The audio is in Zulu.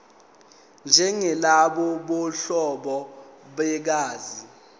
njengalabo bobuhlobo begazi